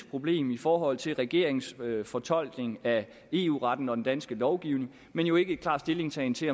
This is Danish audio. problem i forhold til regeringens fortolkning af eu retten og den danske lovgivning men jo ikke en klar stillingtagen til